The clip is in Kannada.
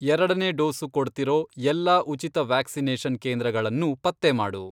ಎರಡನೇ ಡೋಸು ಕೊಡ್ತಿರೋ ಎಲ್ಲಾ ಉಚಿತ ವ್ಯಾಕ್ಸಿನೇಷನ್ ಕೇಂದ್ರಗಳನ್ನೂ ಪತ್ತೆ ಮಾಡು.